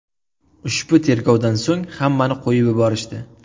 Ushbu tergovdan so‘ng hammani qo‘yib yuborishdi.